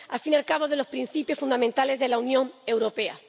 al fin y al cabo, de los principios fundamentales de la Unión Europea.